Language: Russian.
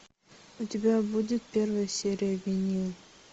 у тебя будет первая серия винил